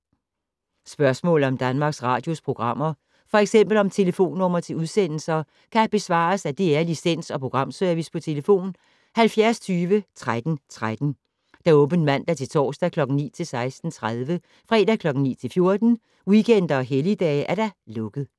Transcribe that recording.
Spørgsmål om Danmarks Radios programmer, f.eks. om telefonnumre til udsendelser, kan besvares af DR Licens- og Programservice: tlf. 70 20 13 13, åbent mandag-torsdag 9.00-16.30, fredag 9.00-14.00, weekender og helligdage: lukket.